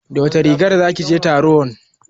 Da wace rigar zaki je taron?